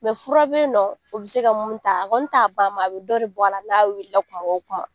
fura be in nɔn o bi se ka mun ta, a kɔni t'a ban a bi dɔ de bɔ a la, n'a wilila kuma o kuma.